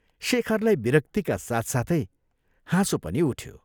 शेखरलाई विरक्तिका साथसाथै हाँसो पनि उठ्यो।